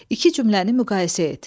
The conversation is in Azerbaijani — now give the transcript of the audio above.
İki cümləni müqayisə et.